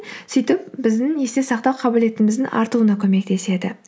сөйтіп біздің есте сақтау қабілетіміздің артуына көмектеседі